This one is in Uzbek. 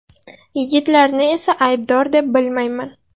Yigitlarni esa aybdor deb bilmayman.